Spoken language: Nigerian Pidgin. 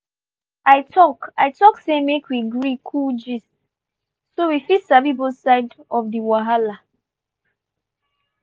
i talk i talk say make we gree cool gist so we fit sabi both side of di wahala.